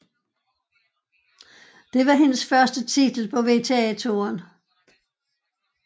Det var hendes første titel på WTA Touren